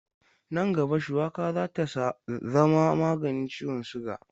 Nan gaba, shuwaka za ta zama maganin ciwon siga.